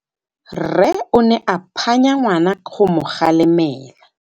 Rre o ne a phanya ngwana go mo galemela.